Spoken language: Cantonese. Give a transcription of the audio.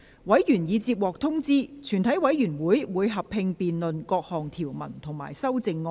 委員已獲得通知，全體委員會會合併辯論各項條文及修正案。